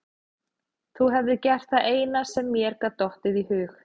Þú hefðir gert það eina sem þér gat dottið í hug.